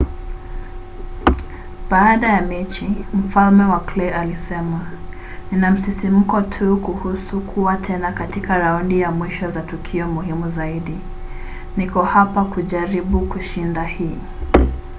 baada ya mechi mfalme wa clay alisema nina msisimko tu kuhusu kuwa tena katika raundi za mwisho za tukio muhimu zaidi. niko hapa kujaribu kushinda hii.